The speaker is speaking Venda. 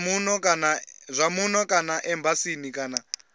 zwa muno kana embasini kana